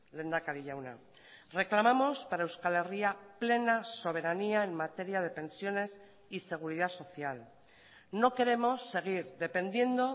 lehendakari jauna reclamamos para euskal herria plena soberanía en materia de pensiones y seguridad social no queremos seguir dependiendo